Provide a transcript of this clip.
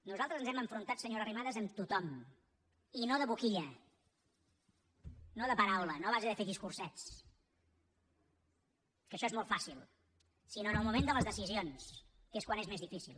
nosaltres ens hem enfrontat senyora arrimadas amb tothom i no de boquilla no de paraula no a base de fer discursets que això és molt fàcil sinó en el moment de les decisions que és quan és més difícil